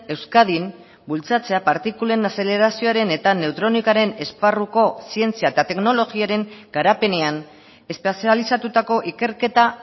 euskadin bultzatzea partikulen azelerazioaren eta neutronikaren esparruko zientzia eta teknologiaren garapenean espezializatutako ikerketa